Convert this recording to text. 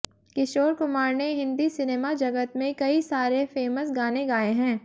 किशोर कुमार ने हिंदी सिनेमागजत में कई सारे फेमस गाने गाए हैं